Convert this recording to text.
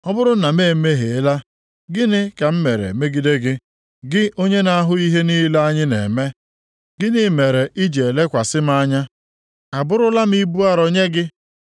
Ọ bụrụ na m emehiela, gịnị ka m mere megide gị, gị onye na-ahụ ihe niile anyị na-eme? Gịnị mere i ji elekwasị m anya? Abụrụla m ibu arọ nye gị?